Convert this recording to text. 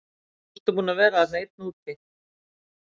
Nú ertu búinn að vera þarna einn úti.